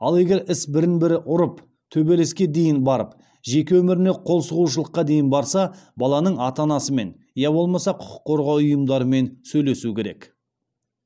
ал егер іс бірін бірі ұрып төбелеске дейін барып жеке өміріне қолсұғушылыққа дейін барса баланың ата анасымен я болмаса құқық қорғау ұйымдарымен сөйлесу керек